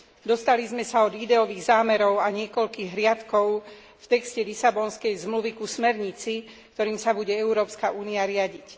Dostali sme sa od ideových zámerov a niekoľkých riadkov v texte Lisabonskej zmluvy k smernici, ktorou sa bude Európska únia riadiť.